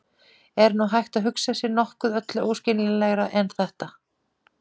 Er nú hægt að hugsa sér nokkuð öllu óskiljanlegra en þetta?